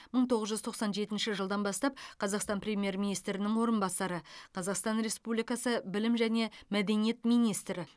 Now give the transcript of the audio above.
мың тоғыз жүз тоқсан жетінші жылдан бастап қазақстан премьер министрінің орынбасары қазақстан республикасы білім және мәдениет министрі